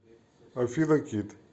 афина кит